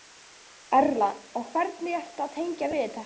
Erla: Og hvernig ertu að tengja við þetta?